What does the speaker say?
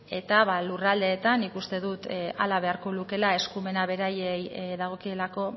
eta lurraldeetan nik uste dut hala beharko lukeela eskumena beraiei dagokielako